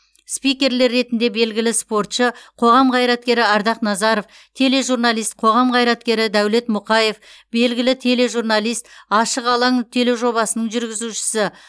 спикерлер ретінде белгілі спортшы қоғам қайраткері ардақ назаров тележурналист қоғам қайраткері дәулет мұқаев белгілі тележурналист ашық алаң тележобасының жүргізушісі